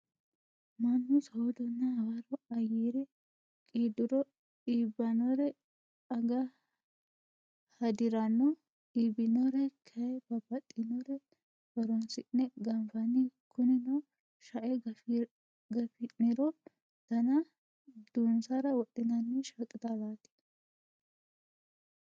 Mannu soodonna hawarro ayere qiidduro iibbinore aga hadiranno. Ibbinore kayii babbaxinore horonsi'ne ganfanni. Kunino sha'e gafi'niro dana duunsara wodhinanni shaqixalaati.